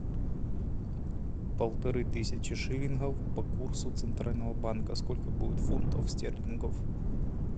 полторы тысячи шиллингов по курсу центрального банка сколько будет фунтов стерлингов